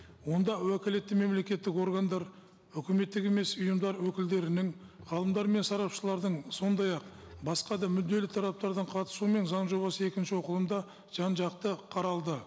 онда уәкілетті мемлекеттік органдар үкіметтік емес ұйымдар өкілдерінің ғалымдар мен сарапшылардың сондай ақ басқа да мүдделі тараптардың қатысуымен заң жобасы екінші оқылымда жан жақты қаралды